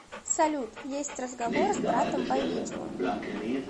салют есть разговор с братом по видео